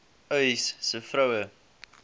uys sê vroue